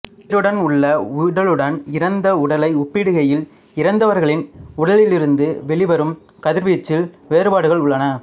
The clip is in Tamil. உயிருடன் உள்ள உடலுடன் இறந்த உடலை ஒப்பிடுகையில் இறந்தவர்களின் உடலிருந்து வெளிவரும் கதிர்வீச்சில் வேறுபாடுகள் உள்ளன